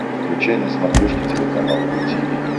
включай на смотрешке телеканал ру ти ви